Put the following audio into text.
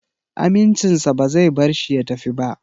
Amincinsa ba zai bar shi ya tafi ba